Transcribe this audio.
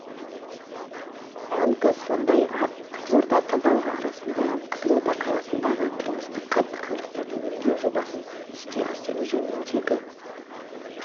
банкі сондай-ақ қызылорда тазалығы арасында қызылорда қаласындағы тұрмыстық қатты қалдықтарды өңдеу жобасын іске асыру жөніндегі